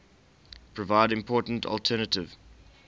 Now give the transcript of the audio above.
provide important alternative